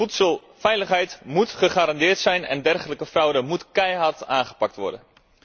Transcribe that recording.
Voedselveiligheid moet gegarandeerd zijn en dergelijke fraude moet keihard aangepakt worden.